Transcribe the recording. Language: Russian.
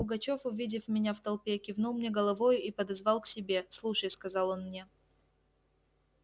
пугачёв увидев меня в толпе кивнул мне головою и подозвал к себе слушай сказал он мне